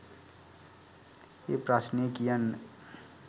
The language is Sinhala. ඒ ප්‍රශ්නේ කියන්න